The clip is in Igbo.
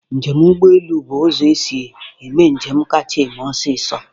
Njem ụgbọ elu bụ ụzọ esi-eme njem kacha eme ọsịsọ.